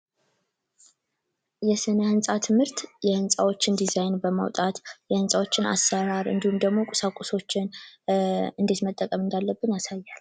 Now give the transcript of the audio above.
የስነ-ህንፃ ትምህርት የህንፃዎችን ዲዛይን በማውጣት ህንፃዎችን አሰራር እንዲሁም ደግሞ ቁሳቁሶችን እንዴት መጠቀም እንዳለብን ያሳያል።